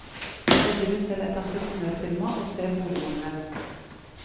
Jeg driver selv et entreprenørfirma, og ser boligmangelen.